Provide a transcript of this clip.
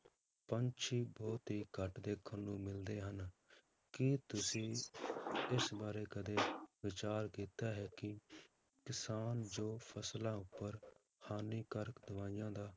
ਪੰਛੀ ਬਹੁਤ ਹੀ ਘੱਟ ਦੇਖਣ ਨੂੰ ਮਿਲਦੇ ਹਨ, ਕੀ ਤੁਸੀਂ ਇਸ ਬਾਰੇ ਕਦੇ ਵਿਚਾਰ ਕੀਤਾ ਹੈ ਕਿ ਕਿਸਾਨ ਜੋ ਫਸਲਾਂ ਉੱਪਰ ਹਾਨੀਕਾਰਕ ਦਵਾਈਆਂ ਦਾ,